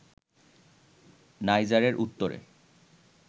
নাইজারের উত্তরে